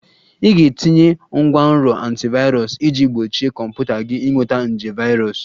Ị ga-etinye ngwanrọ antivirus iji gbochie kọmputa gị ịnweta nje virus